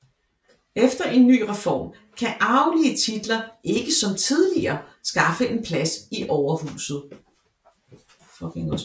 Efter en ny reform kan arvelige titler ikke som tidligere skaffe en plads i overhuset